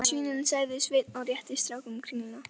Hérna svínin, sagði Sveinn og rétti strákunum kringlu.